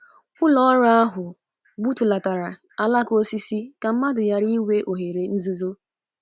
Ụlọ ọrụ ahụ gbutulatara alaka osisi ka mmadụ ghara inwe oghere nzuzo.